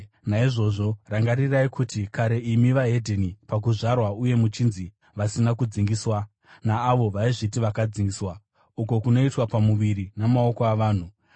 Naizvozvo, rangarirai kuti kare imi veDzimwe Ndudzi pakuzvarwa uye muchinzi “vasina kudzingiswa” naavo vaizviti “vakadzingiswa” (uko kunoitwa pamuviri namaoko avanhu),